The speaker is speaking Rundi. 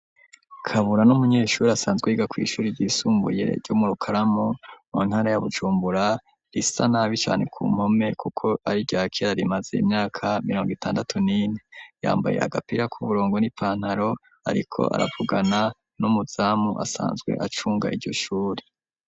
Kabura ni umunyeshure asanzwe yiga kw'ishure ryisumbuye ryo mu Rukaramu, mu ntara ya Bujumbura, risa nabi cane ku mpome kuko ari irya kera, rimaze imyaka mirongo itandatu n'ine, yambaye agapira k'uburongo n'ipantaro, ariko aravugana n'umuzamu asanzwe acunga iryo shure.